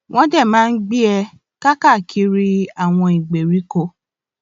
wọn dé máa ń gbé e káàkiri àwọn ìgbèríko